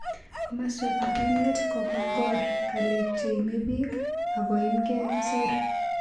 Komoswek ap emet kokongor galek che imepik ak koimgee kicher.